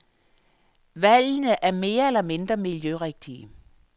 Valgene er mere eller mindre miljørigtige.